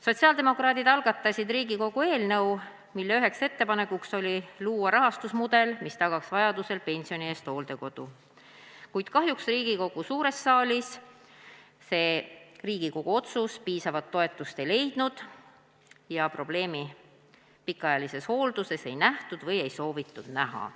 Sotsiaaldemokraadid algatasid Riigikogu eelnõu, milles üks ettepanek oli luua rahastusmudel, mis tagaks vajadusel pensioni eest hooldekodu, kuid kahjuks Riigikogu suures saalis see Riigikogu otsus piisavat toetust ei leidnud ja probleemi pikaajalises hoolduses ei nähtud või ei soovitud näha.